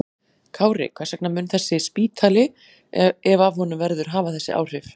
Kári, hvers vegna mun þessi spítali, ef af honum verður, hafa þessi áhrif?